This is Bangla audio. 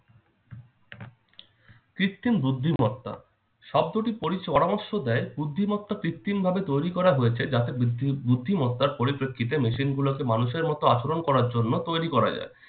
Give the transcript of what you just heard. কৃত্তিম বুদ্ধিমত্তা শব্দটি পরি~ পরামর্শ দেয় বুদ্ধিমত্তা কৃত্রিমভাবে তৈরি করা হয়েছে যাতে বুদ্~ বুদ্ধিমত্তার পরিপ্রেক্ষিতে machine গুলোকে মানুষের মতো আচরণ করার জন্য তৈরি করা যায়।